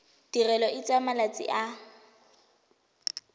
tirelo e tsaya malatsi a